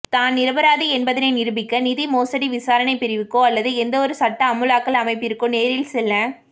தான் நிரபராதி என்பதனை நிரூபிக்க நிதி மோசடி விசாரணை பிரிவுக்கோ அல்லது எந்தவொரு சட்ட அமுலாக்கல் அமைப்பிற்கோ நேரில் செல்ல